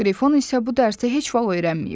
Qrifon isə bu dərsi heç vaxt öyrənməyib.